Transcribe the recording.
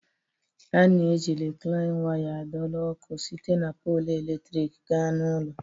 A na-eji Riklain waya adọrọ ọkụ site na polụ eletrik gaa n'ụlọ